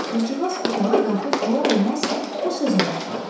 Qızcığaz otağa daxil olar-olmaz o sözə başladı.